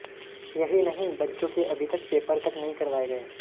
यहीं नहीं बच्चों के अभी तक पेपर तक नहीं करवाये गये